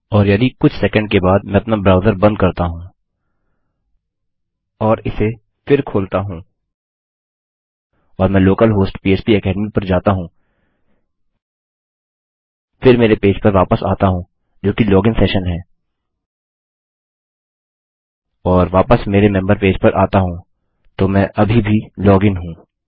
और यदि कुछ सेकंड के बाद मैं अपना ब्राउजर बंद करता हूँ और इसे फिर खोलता हूँ और मैं लोकल होस्ट पह्प एकेडमी पर जाता हूँ फिर मेरे पेज पर वापस आता हूँ जोकि लोगिन सेशन है और वापस मेरे मेम्बर पेज पर आता हूँ तो मैं अभी भी लॉग इन हूँ